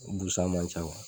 Bu san man ca